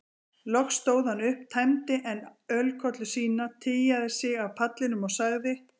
Loks stóð hann upp, tæmdi enn ölkollu sína, tygjaði sig af pallinum og sagði